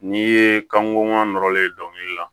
N'i ye kan kɔngɔ nɔrɔlen dɔnkili la